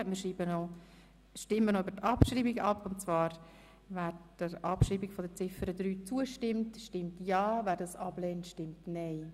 Wer der Abschreibung von Ziffer 3 zustimmt, stimmt ja, wer dies ablehnt, stimmt nein.